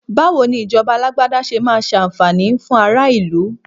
Bawo ni ìjọba Alágbádá ṣe máa ṣàǹfààní fún ara ìlú